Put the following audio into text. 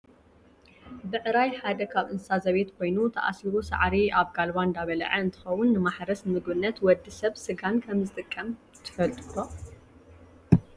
ብዕራይ ሓደ ካብ እንስሳ ዘቤት ኮይኑ ታኣሲሩ ሳዕሪ ኣብ ጋልባ እንዳበለዓ እንትከውን፣ ንማሕረስን ንምግብነት ወዲ ሰብ ስጋን ከምዝጠቅም ትፈልጡ ዶ ?